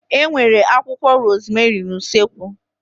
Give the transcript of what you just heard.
E nwere akwụkwọ rozmerị n'usekwu